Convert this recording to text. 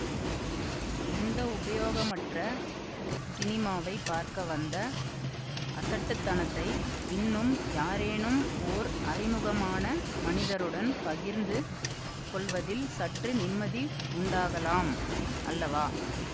இந்த உபயோகமற்ற ஸினிமாவைப் பார்க்க வந்த அசட்டுத்தனத்தை இன்னும் யாரேனும் ஓர் அறிமுகமான மனிதருடன் பகிர்ந்து கொள்வதில் சற்று நிம்மதி உண்டாகலாம் அல்லவா